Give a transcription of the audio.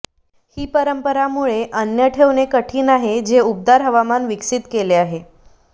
ही परंपरा मुळे अन्न ठेवणे कठीण आहे जे उबदार हवामान विकसित केले आहे